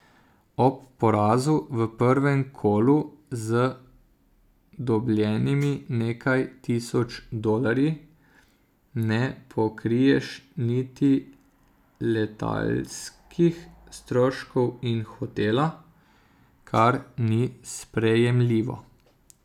Ob porazu v prvem kolu z dobljenimi nekaj tisoč dolarji ne pokriješ niti letalskih stroškov in hotela, kar ni sprejemljivo.